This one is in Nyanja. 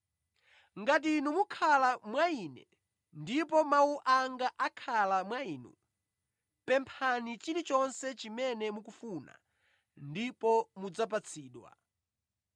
Ngati inu mukhala mwa Ine ndipo mawu anga akhala mwa inu, pemphani chilichonse chimene mukufuna ndipo mudzapatsidwa.